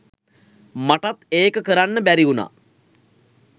මටත් ඒක කරන්න බැරි වුණා.